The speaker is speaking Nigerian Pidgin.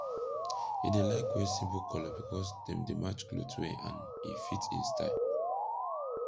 he dey laik wear simpol kolor bikos dem dey match kloth well and e fit en style